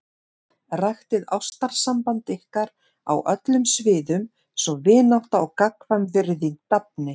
Ræktið ástarsamband ykkar á öllum sviðum svo vinátta og gagnkvæm virðing dafni.